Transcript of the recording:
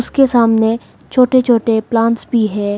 उसके सामने छोटे छोटे प्लांट्स भी है।